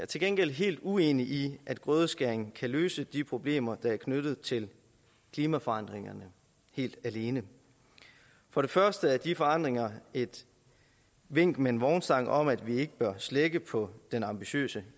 til gengæld helt uenig i at grødeskæring kan løse de problemer der er knyttet til klimaforandringer helt alene for det første er de forandringer et vink med en vognstang om at vi ikke bør slække på den ambitiøse